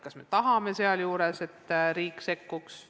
Kas me tahame sealjuures, et riik sekkuks?